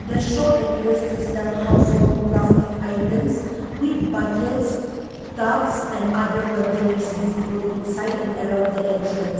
the shop appears to sell household plastic items with buckets tubs and other containers visible inside and around the entrance.